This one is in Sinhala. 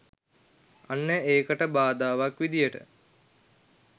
අන්න ඒකට බාධාවක් විදිහට